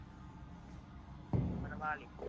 ਬਣਵਾ ਲਈ